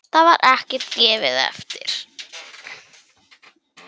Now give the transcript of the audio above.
Þar var ekkert gefið eftir.